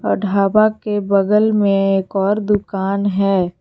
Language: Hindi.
ढाबा के बगल में एक और दुकान है।